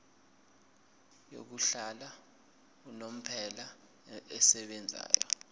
yokuhlala unomphela esebenzayo